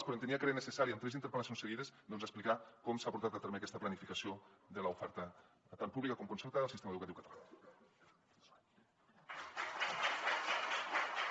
però entenia que era necessari amb tres interpel·lacions seguides doncs explicar com s’ha portat a terme aquesta planificació de l’oferta tant pública com concertada del sistema educatiu català